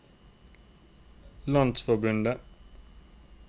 landsforbundet